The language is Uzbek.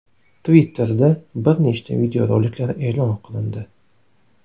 Twitter’da bir nechta videoroliklar e’lon qilindi.